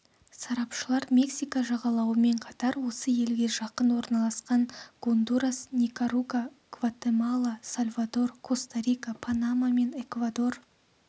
сарапшылар мексика жағалауымен қатар осы елге жақын орналасқан гондурас никарагуа гватемала сальвадор коста-рика панама мен эквадор